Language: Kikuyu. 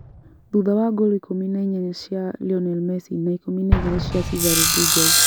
Thutha wa ngolu ikũmi na inyanya cia Lionel Messi na ikũmi na igĩrĩ cia Cesar Rodriguez